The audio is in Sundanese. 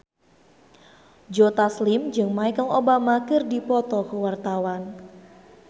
Joe Taslim jeung Michelle Obama keur dipoto ku wartawan